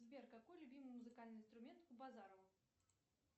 сбер какой любимый музыкальный инструмент у базарова